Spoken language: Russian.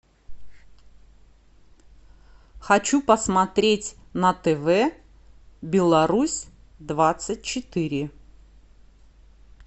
хочу посмотреть на тв беларусь двадцать четыре